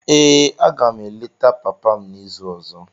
Aga m eleta papa m n'izu ọzọ.